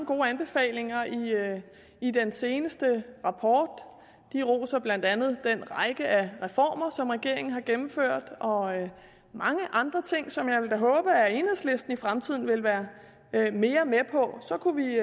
gode anbefalinger i den seneste rapport de roser blandt andet den række af reformer som regeringen har gennemført og mange andre ting som jeg da vil håbe at enhedslisten i fremtiden vil være mere med på så kunne vi